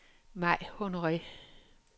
Mai Honore